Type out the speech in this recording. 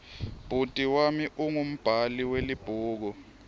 bhuti wami ungumbhali welibhuku